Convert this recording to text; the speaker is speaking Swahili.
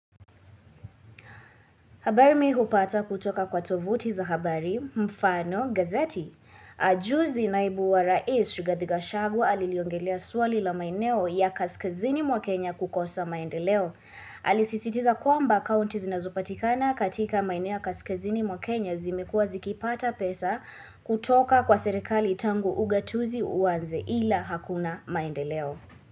Habari mi hupata kutoka kwa tovuti za habari mfano gazeti. Ajuzi naibu wa rais Rigathi gachagua aliliongelea suali la maineo ya kaskazini mwa Kenya kukosa maendeleo. Alisisitiza kuamba kaunti zinazupatikana katika maineo ya kaskazini mwa Kenya zimekuwa zikipata pesa kutoka kwa serekali tangu ugatuzi uwanze ila hakuna maendeleo.